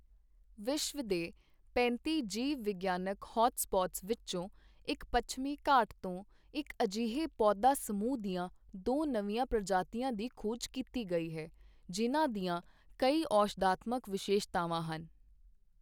ਵਿਸ਼ਵ ਦੇ ਪੈਂਤੀ ਜੀਵ ਵਿਗਿਆਨਕ ਹੌਟ ਸਪੌਟਸ ਵਿੱਚੋਂ ਇੱਕ ਪੱਛਮੀ ਘਾਟਾਂ ਤੋਂ ਇੱਕ ਅਜਿਹੇ ਪੌਦਾ ਸਮੂਹ ਦੀਆਂ ਦੋ ਨਵੀਂਆਂ ਪ੍ਰਜਾਤੀਆਂ ਦੀ ਖੋਜ ਕੀਤੀ ਗਈ ਹੈ, ਜਿਨ੍ਹਾਂ ਦੀਆਂ ਕਈ ਔਸ਼ਧਾਤਮਕ ਵਿਸ਼ੇਸ਼ਤਾਵਾਂ ਹਨ।